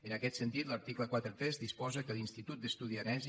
en aquest sentit l’article quaranta tres disposa que er institut d’estudis aranesi